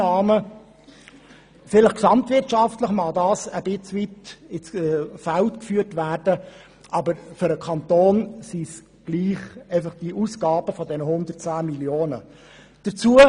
Vielleicht mögen diese Werte gesamtwirtschaftlich ein Stück weit ins Feld geführt werden, aber für den Kanton handelt es sich trotzdem um Ausgaben von 110 Mio. Franken.